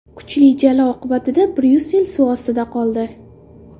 Kuchli jala oqibatida Bryussel suv ostida qoldi.